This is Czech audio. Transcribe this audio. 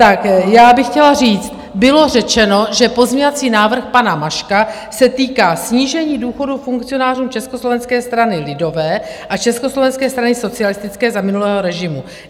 Tak já bych chtěla říct, bylo řečeno, že pozměňovací návrh pana Maška se týká snížení důchodů funkcionářů Československé strany lidové a Československé strany socialistické za minulého režimu.